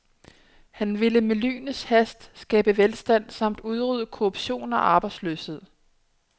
Han ville med lynets hast skabe velstand samt udrydde korruption og arbejdsløshed.